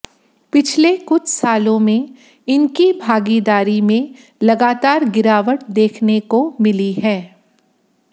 पिछले कुछ सालों में इनकी भागीदारी में लगातार गिरावट देखने को मिली है